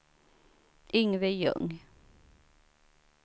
Yngve Ljung